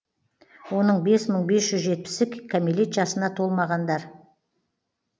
оның бес мың бес жүз жетпісі кәмелет жасына толмағандар